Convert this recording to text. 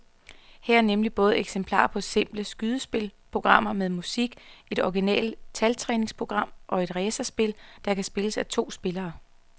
Her er nemlig både eksempler på simple skydespil, programmer med musik, et originalt taltræningsprogram og et racerspil, der kan spilles af to spillere.